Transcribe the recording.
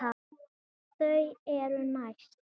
Þau eru næst.